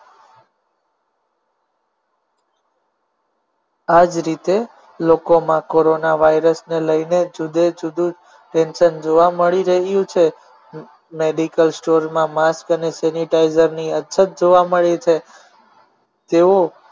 આ જ રીતે લોકોમાં કોરોના વાયરસને લઈને જુદે જુદુ tension જોવા મળી રહ્યુ છે medical store માં mask અને sanitizer ની અછત જોવા મળી છે તેઓ